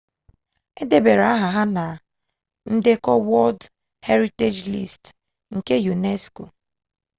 e debara aha ha na ndekọ wọld heritej list nke unesco